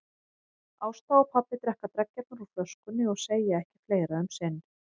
Ásta og pabbi drekka dreggjarnar úr flöskunni og segja ekki fleira um sinn.